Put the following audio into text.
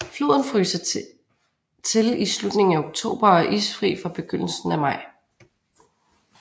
Floden fryser til i slutningen af oktober og er isfri fra begyndelsen af maj